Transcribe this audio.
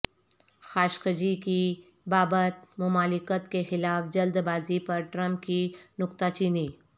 Khashoggi کی بابت مملکت کیخلاف جلد بازی پر ٹرمپ کی نکتہ چینی